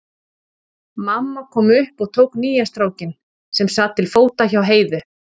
Mamma kom upp og tók nýja strákinn, sem sat til fóta hjá Heiðu.